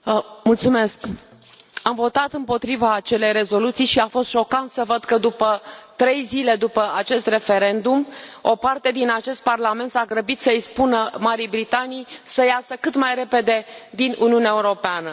Domnule președinte, am votat împotriva acelei rezoluții și a fost șocant să văd că, la trei zile după acest referendum, o parte din acest Parlament s a grăbit să i spună Marii Britanii să iasă cât mai repede din Uniunea Europeană.